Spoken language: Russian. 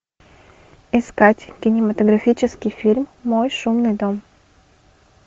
искать кинематографический фильм мой шумный дом